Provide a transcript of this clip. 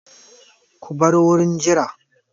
Ku bar wurin jira!